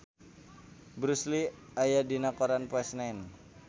Bruce Lee aya dina koran poe Senen